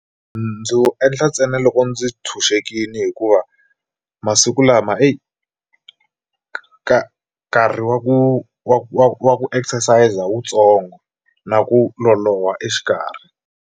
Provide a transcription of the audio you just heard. Ndzi wu endla ntsena loko ndzi tshunxekile hikuva masiku lama ka nkarhi wa ku wa ku wa ku exercise wutsongo na ku loloha exikarhi.